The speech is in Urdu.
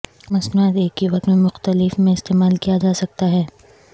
مصنوعات ایک ہی وقت میں مختلف میں استعمال کیا جا سکتا ہے